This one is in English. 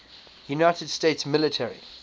united states military